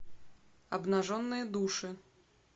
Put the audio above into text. обнаженные души